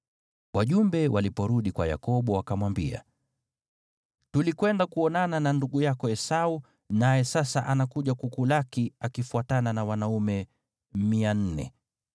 Wajumbe waliporudi kwa Yakobo, wakamwambia, “Tulikwenda kuonana na ndugu yako Esau, naye sasa anakuja kukulaki akifuatana na wanaume 400.”